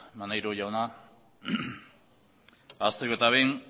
maneiro jauna hasteko eta behin